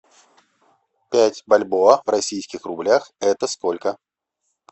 пять бальбоа в российских рублях это сколько